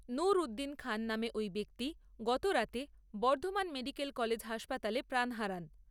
নুর উদ্দীন খান নামে ওই ব্যক্তি গতরাতে, বর্ধমান মেডিকেল কলেজ হাসপাতালে প্রাণ হারান।